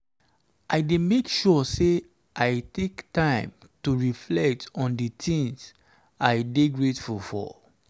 i dey make sure say i take time to reflect on di things i dey grateful for.